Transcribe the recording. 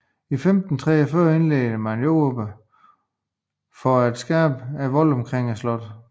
I 1543 indledte man jordarbejderne for at skabe voldene omkring slottet